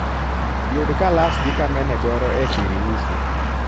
yug kalas gi kamene goro e siriusi